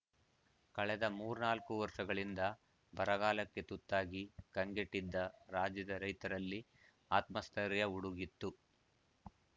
ಕಳೆದ ಮೂರ್ನಾಲ್ಕು ವರ್ಷಗಳಿಂದ ಬರಗಾಲಕ್ಕೆ ತುತ್ತಾಗಿ ಕಂಗೆಟ್ಟಿದ್ದ ರಾಜ್ಯದ ರೈತರಲ್ಲಿ ಆತ್ಮ ಸ್ಥೈರ್ಯ ಉಡುಗಿತ್ತು